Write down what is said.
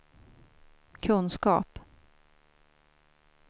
kunskap